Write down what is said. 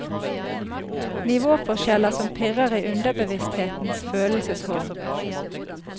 Nivåforskjeller som pirrer i underbevissthetens følelseshorn.